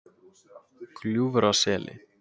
Gljúfraseli